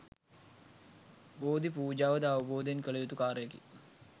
බෝධි පූජාව ද අවබෝධයෙන් කළ යුතු කාර්යයකි.